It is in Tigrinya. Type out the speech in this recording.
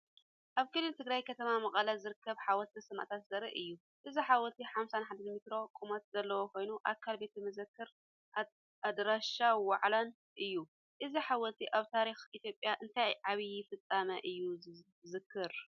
ኣብ ክልል ትግራይ ከተማ መቐለ ዝርከብ "ሓወልቲ ሰማእታት" ዘርኢ እዩ። እዚ ሓወልቲ 51 ሜትሮ ቁመት ዘለዎ ኮይኑ ኣካል ቤተ መዘክርን ኣዳራሽ ዋዕላን እዩ። እዚ ሓወልቲ ኣብ ታሪኽ ኢትዮጵያ እንታይ ዓቢ ፍጻመ እዩ ዝዝክር?